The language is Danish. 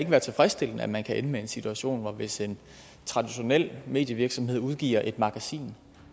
være tilfredsstillende at man kan ende med en situation hvor at hvis en traditionel medievirksomhed udgiver et magasin